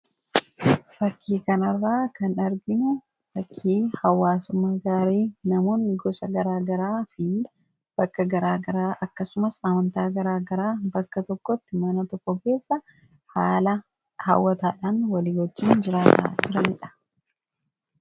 Fakii kana irraa kan arginu, fakii hawwaasumaa gaarii namoonni gosa garagaraa fi bakka garagaraa, akkasumas amantaa gargaraa bakka tokkotti mana tokko keessa haala hawwataadhaan wali wajiin jiraata turanidha.